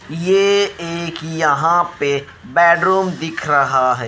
ये एक यहां पे बेडरूम दिख रहा है।